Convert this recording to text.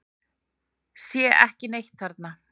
Sá ekki neitt þarna.